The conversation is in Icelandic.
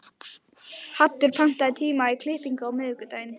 Haddur, pantaðu tíma í klippingu á miðvikudaginn.